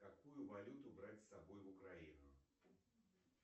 какую валюту брать с собой в украину